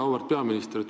Auväärt peaminister!